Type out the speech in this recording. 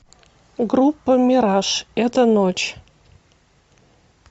группа мираж эта ночь